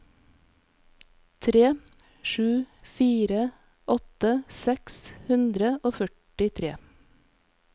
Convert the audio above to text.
tre sju sju fire åtti seks hundre og førtitre